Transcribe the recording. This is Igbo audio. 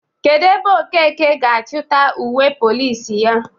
Kedu ebe Okeke ga achita uwe Polisi ya?